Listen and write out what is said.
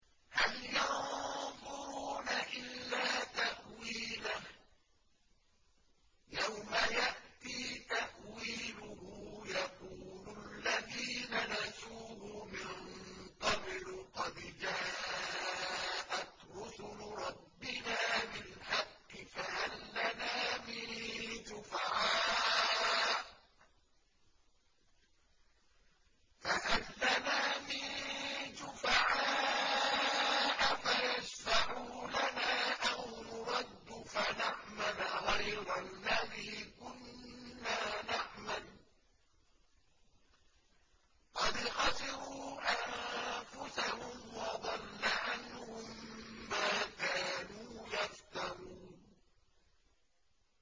هَلْ يَنظُرُونَ إِلَّا تَأْوِيلَهُ ۚ يَوْمَ يَأْتِي تَأْوِيلُهُ يَقُولُ الَّذِينَ نَسُوهُ مِن قَبْلُ قَدْ جَاءَتْ رُسُلُ رَبِّنَا بِالْحَقِّ فَهَل لَّنَا مِن شُفَعَاءَ فَيَشْفَعُوا لَنَا أَوْ نُرَدُّ فَنَعْمَلَ غَيْرَ الَّذِي كُنَّا نَعْمَلُ ۚ قَدْ خَسِرُوا أَنفُسَهُمْ وَضَلَّ عَنْهُم مَّا كَانُوا يَفْتَرُونَ